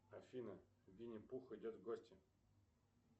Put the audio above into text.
афина винни пух идет в гости